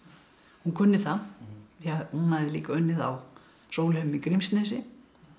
hún kunni það því hún hafði líka unnið á Sólheimum í Grímsnesi